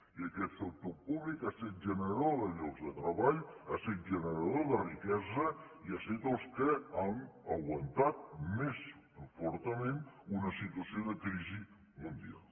i aquest sector públic ha set generador de llocs de treball ha set generador de riquesa i han set els que han aguantat més fortament una situació de crisi mundial